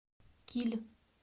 киль